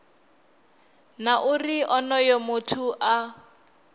na uri onoyo muthu a